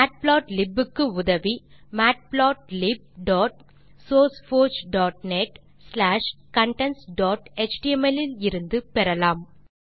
matplotlib க்கு உதவி matplotlibsourceforgenetcontentsஎச்டிஎம்எல் இலிருந்து பெறலாம்